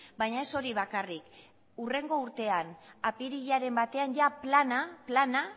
baina ez hori bakarrik hurrengo urtean apirilaren batean jada plana